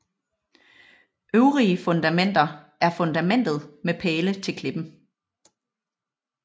Øvrige fundamenter er fundamentet med pæle til klippen